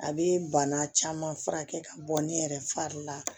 A bɛ bana caman furakɛ ka bɔ ne yɛrɛ fari la